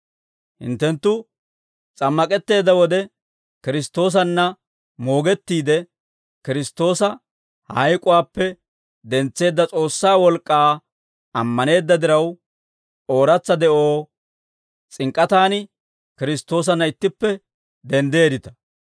Hinttenttu s'ammak'etteedda wode, Kiristtoosanna moogettiide, Kiristtoosa hayk'uwaappe dentseedda S'oossaa wolk'k'aa ammaneedda diraw, ooratsa de'oo s'ink'k'atan Kiristtoosanna ittippe denddeeddita.